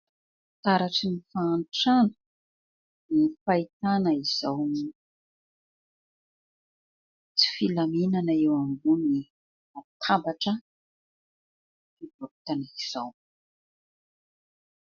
Taratry ny fahantrana ny fahitana izao... tsy filaminana eo ambony latabatra... fivarotana izao.